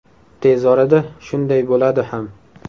Tez orada shunday bo‘ladi ham.